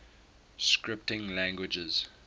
scripting languages